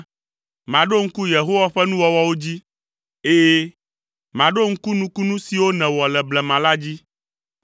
Maɖo ŋku Yehowa ƒe nuwɔwɔwo dzi, ɛ̃, maɖo ŋku nukunu siwo nèwɔ le blema la dzi.